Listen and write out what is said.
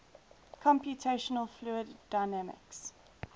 computational fluid dynamics